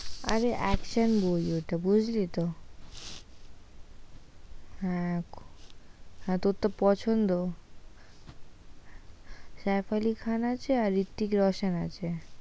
আরে action movie ওটা বুঝলি তো হ্যাঁ হ্যাঁ তোর পছন্দ সাইফ খান আলী আছে আর রিত্তিক রোশন আছে"